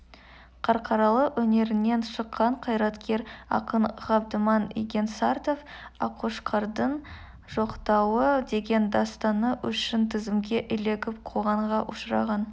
қарқаралы өңірінен шыққан қайраткер ақын ғабдіман игенсартов аққошқардың жоқтауы деген дастаны үшін тізімге ілігіп қуғынға ұшыраған